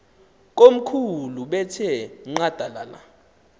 komkhulu bethe nqadalala